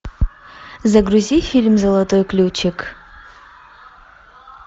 загрузи фильм золотой ключик